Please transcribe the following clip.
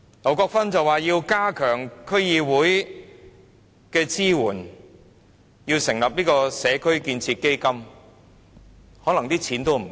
劉國勳議員說要加強對區議會的支援，成立"社區建設基金"，但可能錢並不足夠。